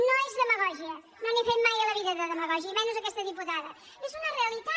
no és demagògia no n’he fet mai a la vida de demagògia i menys aquesta diputada és una realitat